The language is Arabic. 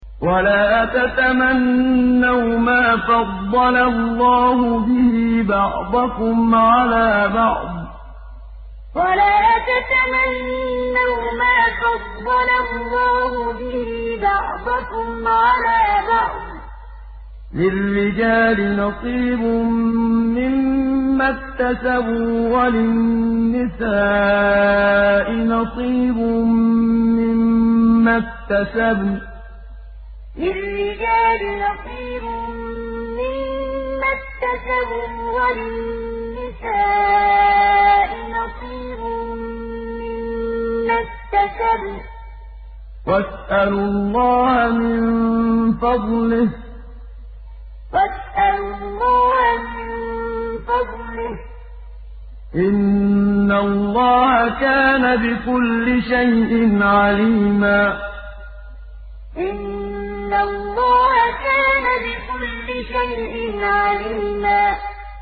وَلَا تَتَمَنَّوْا مَا فَضَّلَ اللَّهُ بِهِ بَعْضَكُمْ عَلَىٰ بَعْضٍ ۚ لِّلرِّجَالِ نَصِيبٌ مِّمَّا اكْتَسَبُوا ۖ وَلِلنِّسَاءِ نَصِيبٌ مِّمَّا اكْتَسَبْنَ ۚ وَاسْأَلُوا اللَّهَ مِن فَضْلِهِ ۗ إِنَّ اللَّهَ كَانَ بِكُلِّ شَيْءٍ عَلِيمًا وَلَا تَتَمَنَّوْا مَا فَضَّلَ اللَّهُ بِهِ بَعْضَكُمْ عَلَىٰ بَعْضٍ ۚ لِّلرِّجَالِ نَصِيبٌ مِّمَّا اكْتَسَبُوا ۖ وَلِلنِّسَاءِ نَصِيبٌ مِّمَّا اكْتَسَبْنَ ۚ وَاسْأَلُوا اللَّهَ مِن فَضْلِهِ ۗ إِنَّ اللَّهَ كَانَ بِكُلِّ شَيْءٍ عَلِيمًا